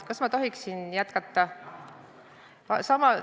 Kas ma tohin jätkata?